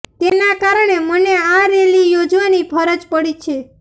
તેના કારણે મને આ રેલી યોજવાની ફરજ પડી છે